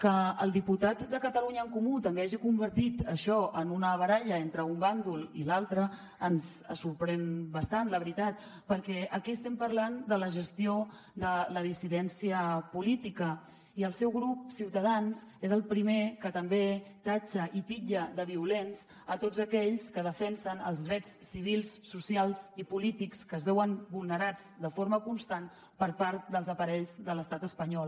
que el diputat de catalunya en comú també hagi convertit això en una baralla entre un bàndol i l’altre ens sorprèn bastant la veritat perquè aquí estem parlant de la gestió de la dissidència política i el seu grup ciutadans és el primer que també qualifica i titlla de violents tots aquells que defensen els drets civils socials i polítics que es veuen vulnerats de forma constant per part dels aparells de l’estat espanyol